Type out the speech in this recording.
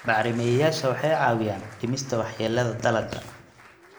Bacrimiyeyaasha waxay caawiyaan dhimista waxyeelada dalagga.